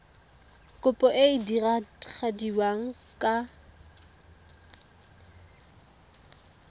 kopo e e diragadiwa ka